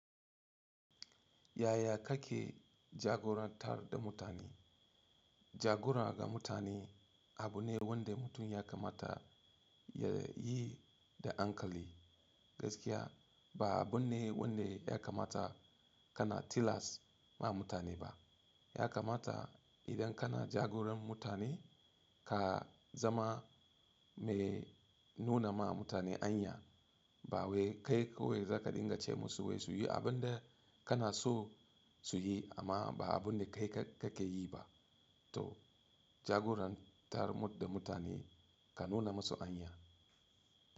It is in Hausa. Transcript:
Yaya kake jagorantar da mutane? Jagora ga mutane abu ne wanda mutum ya kamata ya yi da hankali. Gaskiya ba abu ne wanda ya kamata kana tilas ma mutane ba. Ya kamata idan kana jagoran mutane ka zama mai nuna ma mutane anya. Ba wai kai kawai za ka dinga ce musu wai su yi abin da kana so su yi amma ba abun da kai ka kake yi ba. To jagorantar da mutane ka nuna musu anya.